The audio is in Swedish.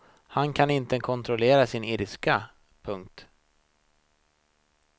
Han kan inte kontrollera sin ilska. punkt